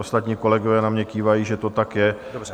Ostatní kolegové na mě kývají, že to tak je.